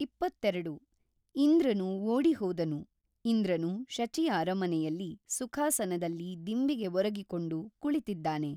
ಇಪ್ಪತ್ತೆರಡು.ಇಂದ್ರನು ಓಡಿಹೋದನು ಇಂದ್ರನು ಶಚಿಯ ಅರಮನೆಯಲ್ಲಿ ಸುಖಾಸನದಲ್ಲಿ ದಿಂಬಿಗೆ ಒರಗಿಕೊಂಡು ಕುಳಿತಿದ್ದಾನೆ.